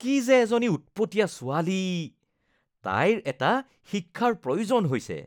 কি যে এজনী উৎপতীয়া ছোৱালী ! তাইৰ এটা শিক্ষাৰ প্ৰয়োজন হৈছে।